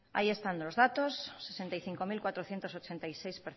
ahí están los datos sesenta y cinco mil cuatrocientos ochenta y seis